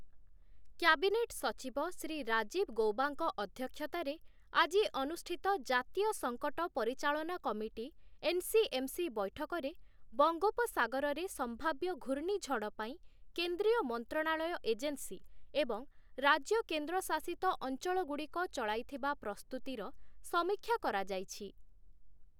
Cabinet ସଚିବ ଶ୍ରୀ ରାଜୀବ ଗୌବାଙ୍କ ଅଧ୍ୟକ୍ଷତାରେ, ଆଜି ଅନୁଷ୍ଠିତ ଜାତୀୟ ସଙ୍କଟ ପରିଚାଳନା କମିଟି ଏନ୍‌ସିଏମ୍‌ସି ବୈଠକରେ ବଙ୍ଗୋପସାଗରରେ ସମ୍ଭାବ୍ୟ ଘୂର୍ଣ୍ଣିଝଡ ପାଇଁ କେନ୍ଦ୍ରୀୟ ମନ୍ତ୍ରଣାଳୟ ଏଜେନ୍ସି ଏବଂ ରାଜ୍ୟ କେନ୍ଦ୍ର ଶାସିତ ଅଞ୍ଚଳଗୁଡ଼ିକ ଚଳାଇଥିବା ପ୍ରସ୍ତୁତିର ସମୀକ୍ଷା କରାଯାଇଛି ।